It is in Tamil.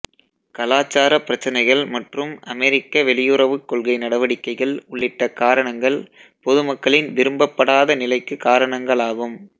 கலாச்சார பிரச்சினைகள் மற்றும் அமெரிக்க வெளியுறவுக் கொள்கை நடவடிக்கைகள் உள்ளிட்ட காரணங்கள் பொதுமக்களின் விரும்பப்படாத நிலைக்கு காரணங்களாகும்